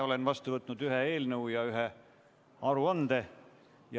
Olen vastu võtnud ühe eelnõu ja ühe aruande.